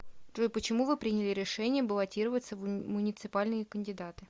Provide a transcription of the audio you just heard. джой почему вы приняли решение баллотироваться в муниципальные кандидаты